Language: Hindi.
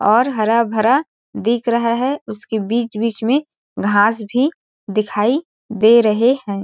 और हरा भरा दिख रहा है उसके बीच-बीच में घास भी दिखाई दे रहे हैं।